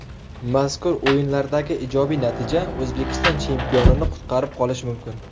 Mazkur o‘yinlardagi ijobiy natija O‘zbekiston chempionini qutqarib qolishi mumkin.